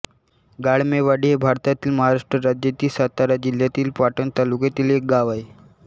गाळमेवाडी हे भारतातील महाराष्ट्र राज्यातील सातारा जिल्ह्यातील पाटण तालुक्यातील एक गाव आहे